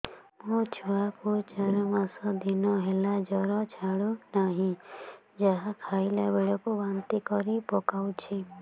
ମୋ ଛୁଆ କୁ ଚାର ପାଞ୍ଚ ଦିନ ହେଲା ଜର ଛାଡୁ ନାହିଁ ଯାହା ଖାଇଲା ବେଳକୁ ବାନ୍ତି କରି ପକଉଛି